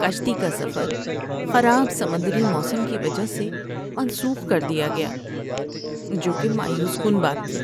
کشتی کا سفر خراب سمندری موسم کی وجہ سے منسوخ کر دیا گیا، جو کہ مایوس کن بات تھی۔